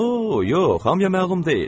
O, yox, hamıya məlum deyil.